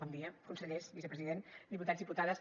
bon dia consellers vicepresident diputats diputades